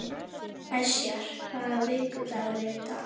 Esjar, hvaða vikudagur er í dag?